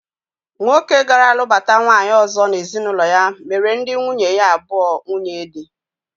Nwoke gara lụbata nwaanyị ọzọ n'ezinụlọ ya mere ndị nwunye ya abụọ nwunyedi